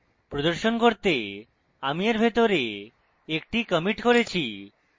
প্রদর্শন করতে আমি এর ভিতরে একটি commit করেছি